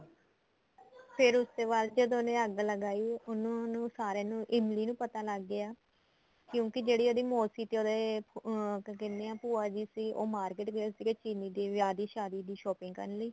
ਫੇਰ ਉਸ ਤੇ ਬਾਅਦ ਜਦੋਂ ਉਹਨੇ ਅੱਗ ਲਗਾਈ ਉਹਨੂੰ ਉਹਨੂੰ ਸਾਰੇ ਨੂੰ ਇਮਲੀ ਨੂੰ ਪਤਾ ਲੱਗ ਗਿਆ ਕਿਉਂਕਿ ਜਿਹੜੇ ਉਹਦੀ ਮੋਸੀ ਤੇ ਉਹਦੇ ਅਹ ਕੀ ਕਹਿਨੇ ਏ ਭੂਆ ਜੀ ਸੀ ਉਹ market ਗਏ ਸੀ ਚੀਲੀ ਦੀ ਵਿਆਹ ਦੀ ਸ਼ਾਦੀ ਦੀ shopping ਕਰਨ ਲਈ